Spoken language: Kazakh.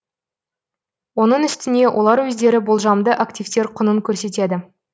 оның үстіне олар өздері болжамды активтер құнын көрсетеді